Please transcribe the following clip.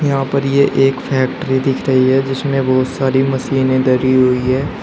यहां पर ये एक फैक्ट्री दिख रही है जिसमें बहोत सारी मशीने धरी हुई हैं।